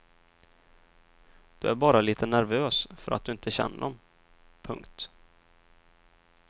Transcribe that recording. Du är bara litet nervös för att du inte känner dem. punkt